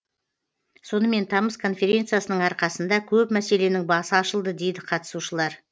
сонымен тамыз конференциясының арқасында көп мәселенің басы ашылды дейді қатысушылар